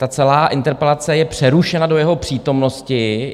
Ta celá interpelace je přerušena do jeho přítomnosti.